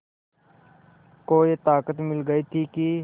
को ये ताक़त मिल गई थी कि